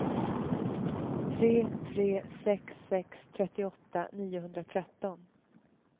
tre tre sex sex trettioåtta niohundratretton